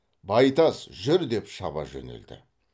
байтас жүр деп шаба жөнелді